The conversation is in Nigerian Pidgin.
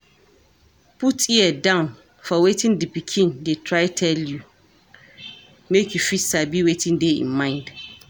Put ear down for wetin di pikin dey try tell you make you fit sabi wetin dey im mind